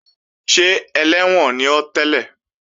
Ṣé ẹlẹ́wọ̀n ni ọ́ tẹ́lẹ̀?